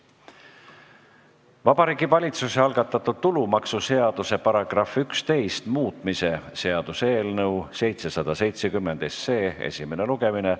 Vabariigi Valitsuse algatatud tulumaksuseaduse § 11 muutmise seaduse eelnõu 770 esimene lugemine.